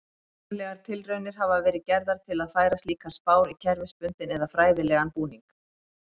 Heiðarlegar tilraunir hafa verið gerðar til að færa slíkar spár í kerfisbundinn eða fræðilegan búning.